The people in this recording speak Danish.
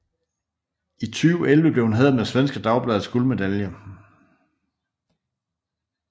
I 2011 blev hun hædret med Svenska Dagbladets guldmedalje